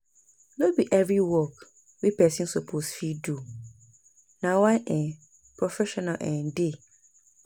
no bi evri work wey pesin soppose fit do, na why um professional dey